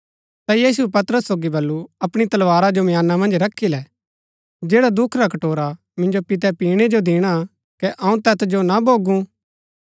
ता यीशुऐ पतरस सोगी बल्लू अपणी तलवारा जो म्याना मन्ज रखी लै जैड़ा दुख रा कटोरा मिन्जो पितै पिणै जो दिणा कै अऊँ तैत जो ना भोगू